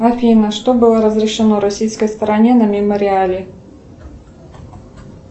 афина что было разрешено российское стороне на мемориале